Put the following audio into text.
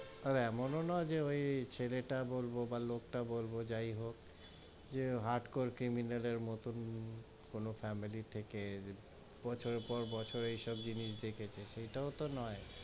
আর এমনো নয় যে ওই, ছেলে তা বলবো বা, লোক টা বলবো, যাই হোক যে হট্ করে criminal এর মতোন কোনো family থেকে, বছর পর বছর এই সব জিনিস দেখেছে, এটাও তো নয়,